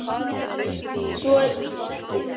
Svo er víst ekki.